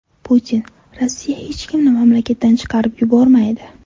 Putin: Rossiya hech kimni mamlakatdan chiqarib yubormaydi.